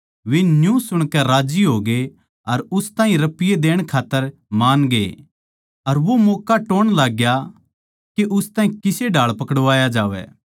वे न्यू सुणकै राज्जी होगे अर उस ताहीं रपिये देण खात्तर मानगे अर वो मौक्का टोह्ण लाग्या के उस ताहीं किसे ढाळ पकड़वाया जावै